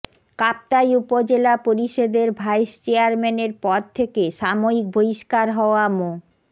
কাপ্তাই উপজেলা পরিষদের ভাইস চেয়ারম্যানের পদ থেকে সাময়িক বহিষ্কার হওয়া মো